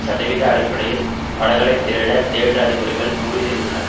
சதவீத அடிப்படையில் படங்களை திரையிட தியேட்டர் அதிபர்கள் முடிவு செய்துள்ளனர்